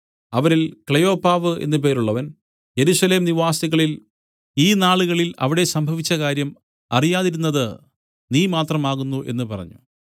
അവരിൽ ക്ലെയോപ്പാവ് എന്നു പേരുള്ളവൻ യെരൂശലേം നിവാസികളിൽ ഈ നാളുകളിൽ അവിടെ സംഭവിച്ച കാര്യം അറിയാതിരിക്കുന്നത് നീ മാത്രം ആകുന്നു പറഞ്ഞു